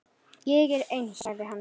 Ég er eins, sagði hann.